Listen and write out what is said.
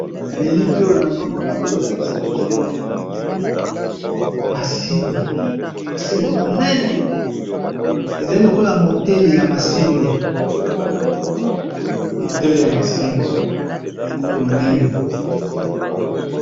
Na elili oyo nazomona bazolakisa biso masini, masini monene ezali lokola motele ya masine motele ya masine monene.